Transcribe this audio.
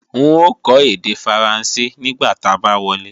N ó kọ́ èdè Faransé nígbà ta bá wọlé